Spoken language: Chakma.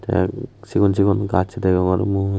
tay sigon sigon gach degongor mui.